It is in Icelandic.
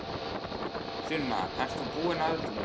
Sunna, ert þú búin að öllu?